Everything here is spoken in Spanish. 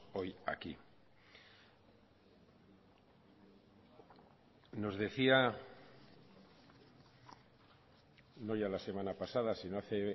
hoy aquí nos decía no ya la semana pasada sino hace